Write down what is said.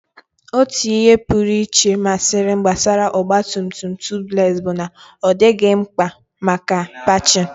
Otu ihe pụrụ iche masịrị m gbasara ọgba tum tum Tubeless bụ na ọ dịghị mkpa maka patching.